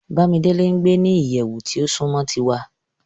Bamidele n gbe ni iyẹwu ti o sunmọ tiwa